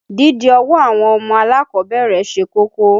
Dídi ọwọ́ àwọn ọmọ alákọ̀ọ́bẹ̀rẹ̀ mú ṣe kókó.